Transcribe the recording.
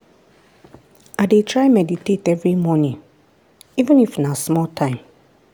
i dey try meditate every morning even if na small time.